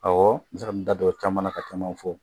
Ɔwɔ n bɛ se ka n da don caman na ka caman fɔ